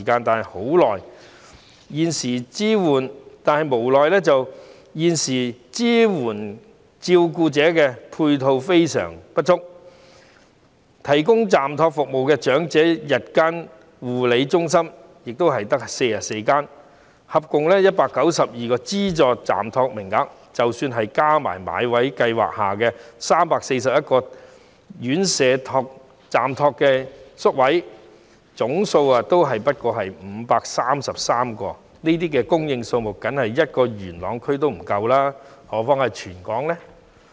但無奈地，現時支援照顧者的配套相當不足，提供暫託服務的長者日間護理中心只有44間，合共192個資助暫託名額，即使再加上買位計劃下的341個院舍暫託宿位，總數也只有533個，這個宿位數目連只服務元朗區也不足夠，更何況是服務全香港呢？